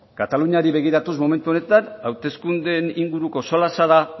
kataluniari begiratuz momentu honetan hauteskundeen inguruko solasa da